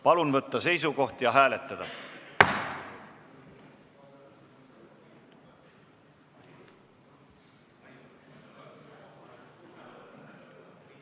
Palun võtta seisukoht ja hääletada!